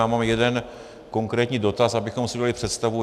Já mám jeden konkrétní dotaz, abychom si udělali představu.